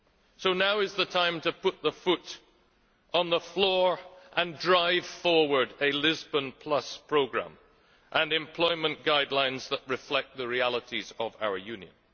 So now is the time to put our foot on the floor and drive forward a Lisbon plus programme' and employment guidelines that reflect the realities of our Union.